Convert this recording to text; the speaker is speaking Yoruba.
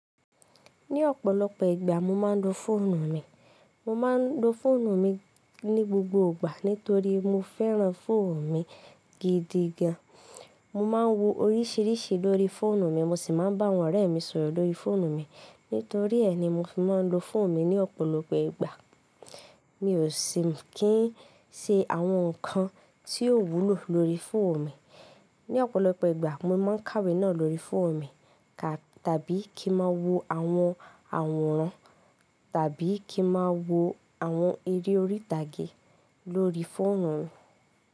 Ní ọ̀pọ̀lọpọ̀ ìgbà mo máa ń lo fóònù mi. Mo máa ń lo fóònù mi ní gbogbo ìgbà nítorí mo fẹ́ràn fóònù mi gidi gan. Mo máa ń wo oríṣiríṣi lórí fóònù mi mo sì máa ń bá àwọn ọ̀rẹ́ mi sọ̀rọ̀ lórí fóònù mi. Nítorí ẹ ni mo fi máa ń lo fóònù mi ní ọ̀pọ̀lọpọ̀ ìgbà. Mi ò sì ní kí ń ṣe àwọn nǹkan tí yóò wúlò lórí fóònù mi. Ní ọ̀pọ̀lọpọ̀ ìgbà mo máa ń kàwé náà lórí fóònù mi ka tàbí kí ń má wo àwọn àwòrán tàbí kí ń má wo àwọn eré orí ìtàgé lórí fóònù mi.